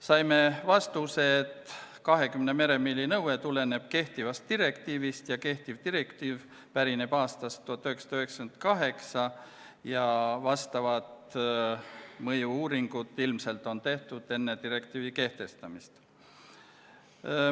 Saime vastuse, et 20 meremiili nõue tuleneb kehtivast direktiivist, mis pärineb aastast 1998, ning vastavad mõju-uuringud on tehtud ilmselt juba enne direktiivi kehtestamist.